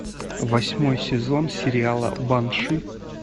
восьмой сезон сериала банши